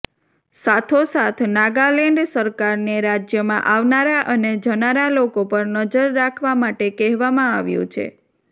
સાથોસાથ નાગાલેન્ડ સરકારને રાજ્યમાં આવનારા અને જનારા લોકો પર નજર રાખવા માટે કહેવામાં આવ્યું છે